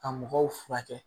Ka mɔgɔw furakɛ